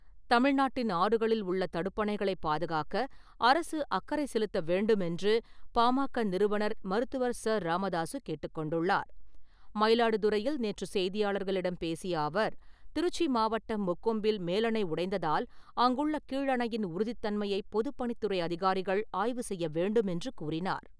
தமிழ்நாட்டின் ஆறுகளில் உள்ள தடுப்பணைகளைப் பாதுகாக்க அரசு அக்கறை செலுத்த வேண்டுமென்று பாமக நிறுவனர் மருத்துவர் ச. ராமதாசு கேட்டுக் கொண்டுள்ளார். மயிலாடுதுறையில் நேற்று செய்தியாளர்களிடம் பேசிய அவர், திருச்சி மாவட்டம் முக்கொம்பில் மேலணை உடைந்ததால் அங்குள்ள கீழ் அணையின் உறுதித் தன்மையை பொதுப்பணித்துறை அதிகாரிகள் ஆய்வு செய்ய வேண்டுமென்று கூறினார்.